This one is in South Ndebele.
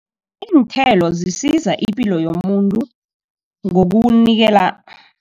Iinthelo zisiza ipilo yomuntu ngokuwunikela